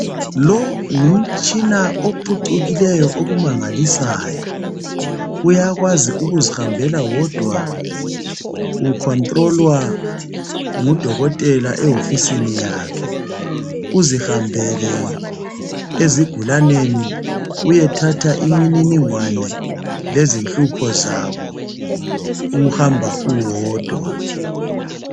Lo ngumtshina ophucukileyo okumangalisayo. Uyakwazi ukuzihambela wodwa, ukhontilolwa ngudokotela ehofisini yakhe. Uzihambele esigulaneni, uyethatha imininingwane lezinhlupho zabo uhamba uwodwa.